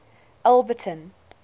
alberton